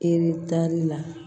Eretari la